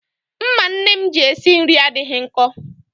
Mma nne m ji esi nri adịghị nkọ.